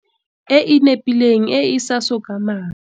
E e nepileng e e sa sokamang.